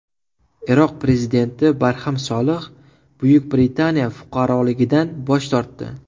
Iroq prezidenti Barham Solih Buyuk Britaniya fuqaroligidan bosh tortdi.